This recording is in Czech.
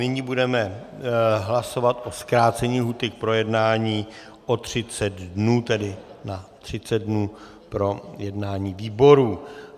Nyní budeme hlasovat o zkrácení lhůty k projednání o 30 dnů, tedy na 30 dnů pro jednání výborů.